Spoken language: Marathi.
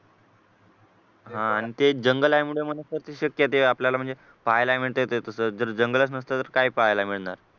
हा आणि ते जंगल असल्यामुळे शक्य आहे ते पाहायला मिळतय ते तसं जर जंगलच नसतं तर काय पाहायला मिळणार